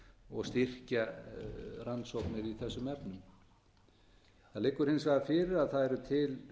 og styrkja rannsóknir í þessum efnum það liggur hins vegar fyrir að það er til